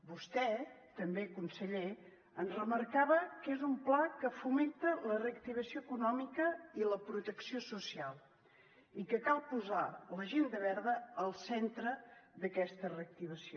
vostè també conseller ens remarcava que és un pla que fomenta la reactivació econòmica i la protecció social i que cal posar l’agenda verda al centre d’aquesta reactivació